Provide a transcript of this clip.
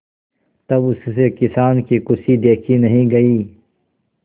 तब उससे किसान की खुशी देखी नहीं गई